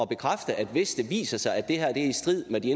bekræfte at hvis det viser sig at det her er i strid med de